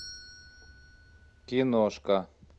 киношка